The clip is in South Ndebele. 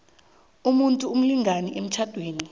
umuntu umlingani emtjhadweni